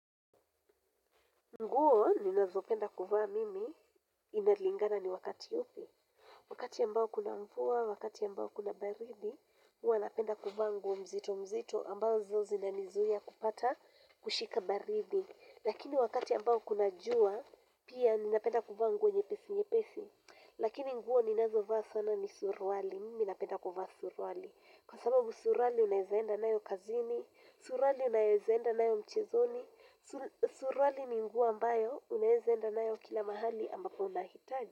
Nguo, ninazopenda kuvaa mimi inalingana ni wakati upi. Wakati ambao kuna mvua, wakati ambao kuna baridi, huwa napenda kuvaa nguo mzito mzito ambazo zinanizuia kupata kushika baridi. Lakini wakati ambao kuna jua, pia ninapenda kuvaa nguo nyepesi nyepesi. Lakini nguo ninazovaa sana ni suruali, mimi napenda kuvaa suruali. Kwa sababu suruali naweza enda nayo kazini, suruali naweza enda nayo mchezoni, suruali ni nguo ambayo unaweza enda nayo kila mahali ambapo unahitaji.